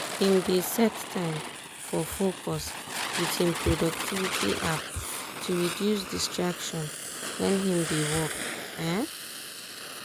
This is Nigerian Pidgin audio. him dey set time for focus with him productivity app to reduce distraction wen him dey work. um